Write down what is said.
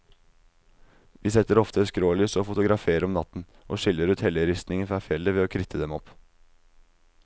Vi setter ofte skrålys og fotograferer om natten, og skiller ut helleristningen fra fjellet ved å kritte dem opp.